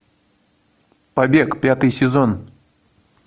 побег пятый сезон